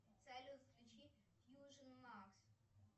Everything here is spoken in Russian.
салют включи фьюжен макс